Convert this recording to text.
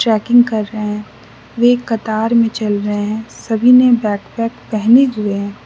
Trekking कर रहे हैं वे एक कतार में चल रहे हैं सभी ने बैक पैक पहने हुए हैं।